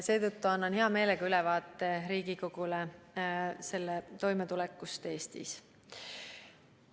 Seetõttu annan hea meelega Riigikogule ülevaate sellega toimetulekust Eestis.